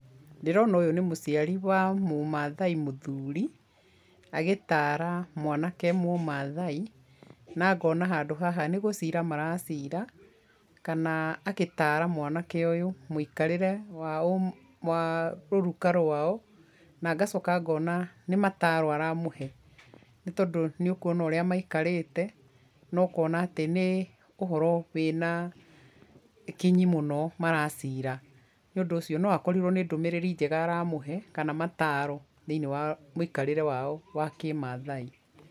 Ndĩrona ũyũ nĩ mũciari wa mũmaathai mũthuri agĩtara mwanake mũmaathai na ngona handũ haha ni gũcira maracira kana agĩtara mwanake ũyũ mũikarĩre wa, wa rũruka rwao na ngacoka ngona nĩ mataaro aramũhe, nĩ tondũ nĩ ũkuona ũrĩa maikarĩte na ũkona atĩ nĩ ũhoro wĩna kinyi mũno maracira nĩ ũndũ ũcio no akorirwo nĩ ndũmĩrĩri njega aramũhe kana mataro thĩiniĩ wa mũikarĩre wao wa kĩmaathai.